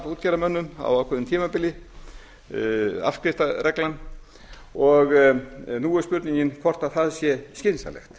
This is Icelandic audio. útgerðarmönnum á ákveðnu tímabili afskriftareglan og nú er spurningin hvort það sé skynsamlegt